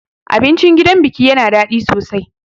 Abincin gidan biki yana daɗi sosai.